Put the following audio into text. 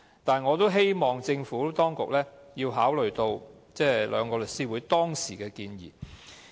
但是，我也希望政府當局考慮兩個律師團體當時的建議。